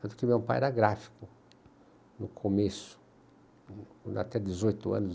Tanto que meu pai era gráfico no começo, né, até dezoito anos